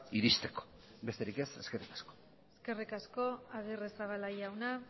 iristeko besterik ez eskerrik asko eskerrik asko agirrezabala jauna